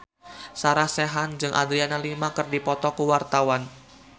Sarah Sechan jeung Adriana Lima keur dipoto ku wartawan